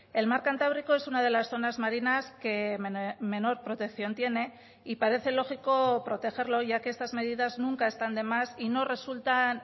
el mar cantábrico es una de las zonas marinas que menor protección tiene y parece lógico protegerlo ya que estas medidas nunca están de más y no resultan